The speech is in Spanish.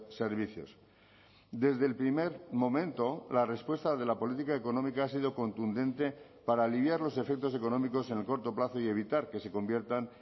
servicios desde el primer momento la respuesta de la política económica ha sido contundente para aliviar los efectos económicos en el corto plazo y evitar que se conviertan